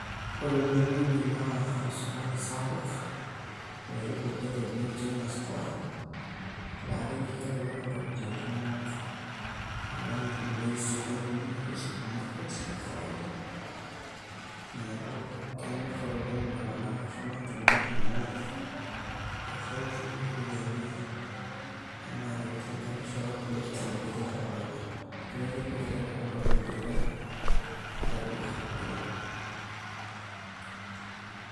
ore enewueji naa osokoni sapuk oewuo det oji china square laa keji kelelek intokitin kumok alang irkulie sokonini ashu supermarket le kawaida neeku kenyorr oleng iltung'anak asho aitumia amu dorropu iropiyiani enaa tenilinganisha orkulie supamaketi le kawaida neeku ekelelek intokitin tele, tele duka oleng.